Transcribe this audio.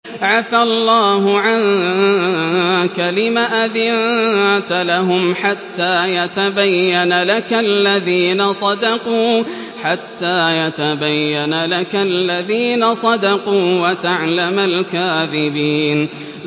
عَفَا اللَّهُ عَنكَ لِمَ أَذِنتَ لَهُمْ حَتَّىٰ يَتَبَيَّنَ لَكَ الَّذِينَ صَدَقُوا وَتَعْلَمَ الْكَاذِبِينَ